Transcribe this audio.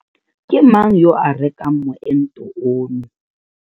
Ke mang yo a rekang moento ono?